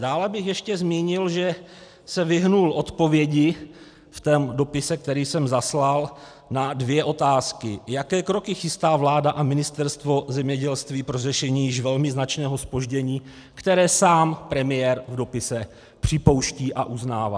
Dále bych ještě zmínil, že se vyhnul odpovědi v tom dopise, který jsem zaslal, na dvě otázky: Jaké kroky chystá vláda a Ministerstvo zemědělství pro řešení již velmi značného zpoždění, které sám premiér v dopise připouští a uznává?